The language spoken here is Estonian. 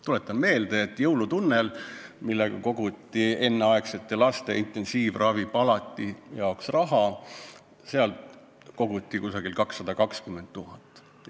Tuletan meelde, et "Jõulutunneli" saates, millega koguti raha enneaegsete laste intensiivravi palati jaoks, annetati umbes 220 000 eurot.